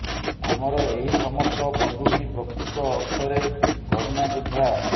ଆମର ଏହି ସମସ୍ତ ବନ୍ଧୁ ହିିଁ ପ୍ରକୃତ ଅର୍ଥରେ କରୋନା ଯୋଦ୍ଧା